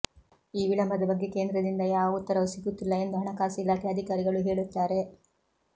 ಈ ವಿಳಂಬದ ಬಗ್ಗೆ ಕೇಂದ್ರದಿಂದ ಯಾವ ಉತ್ತರವೂ ಸಿಗುತ್ತಿಲ್ಲ ಎಂದು ಹಣಕಾಸು ಇಲಾಖೆ ಅಧಿಕಾರಿಗಳು ಹೇಳುತ್ತಾರೆ